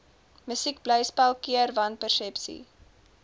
musiekblyspel keer wanpersepsies